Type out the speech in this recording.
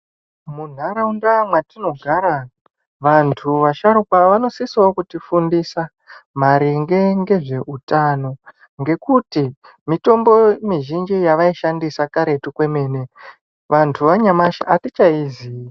Muntaraunda mwatinogara vantu vasharukwa vanosisawo kutifundisa maringe ngezveutano ngekuti mitombo mizhinji yavaishandisa karetu kwemene vantu yanyamashi atichaiziyi.